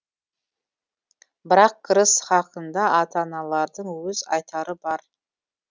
бірақ кіріс хақында ата аналардың өз айтары бар